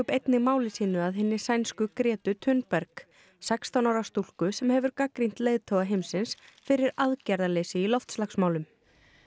einnig máli sínu að hinni sænsku Gretu Thunberg sextán ára stúlku sem hefur gagnrýnt leiðtoga heimsins fyrir aðgerðarleysi í loftslagsmálum